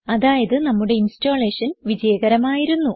അതായത് നമ്മുടെ ഇൻസ്റ്റലേഷൻ വിജയകരമായിരുന്നു